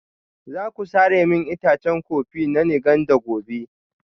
Za ku sare min itacen kofi na Nganda gobe?